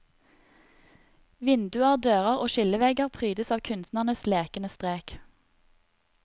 Vinduer, dører og skillevegger prydes av kunstnerens lekende strek.